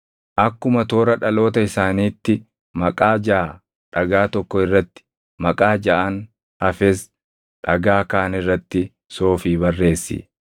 Akkuma toora dhaloota isaaniitti, maqaa jaʼa dhagaa tokko irratti, maqaa jaʼaan hafes dhagaa kaan irratti soofii barreessi.